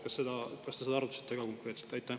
Kas te seda ka konkreetselt arutasite?